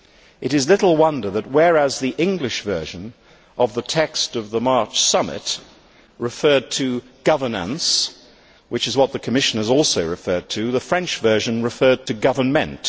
It is little wonder that, whereas the English version of the text of the March summit referred to governance', which is what the Commission has also referred to, the French version referred to government'.